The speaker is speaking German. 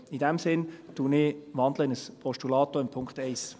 In diesem Sinne wandle ich in ein Postulat, auch bei Punkt 1.